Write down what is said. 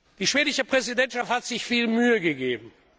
Die schwedische Präsidentschaft hat sich viel Mühe gegeben.